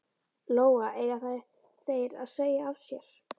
Lóa: Eiga þeir að segja af sér?